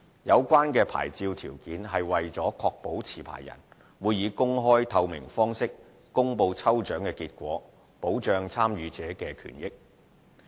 有關牌照條件是為了確保持牌人會以公開、透明方式公布抽獎結果，保障參與者的權益。